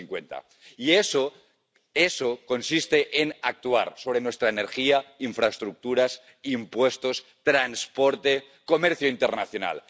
2050. Y eso consiste en actuar sobre nuestra energía, infraestructuras, impuestos, transporte, comercio internacional.